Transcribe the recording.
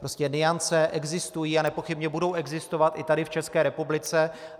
Prostě nuance existují a nepochybně budou existovat i tady v České republice.